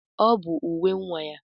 Ọ bụ uwe nwa ya.